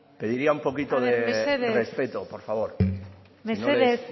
pediría un poquito de respeto por favor haber mesedez